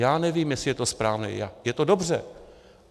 Já nevím, jestli je to správné, je to dobře.